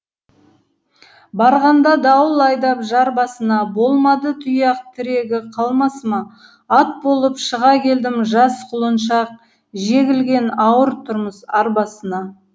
барғанда дауыл айдап жар басына болмады тұяқ тірегі қалмасыма ат болып шыға келдім жас құлыншақ жегілген ауыр тұрмыс арбасына